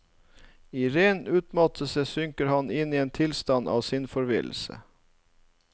I ren utmattelse synker han inn i en tilstand av sinnsforvirrelse.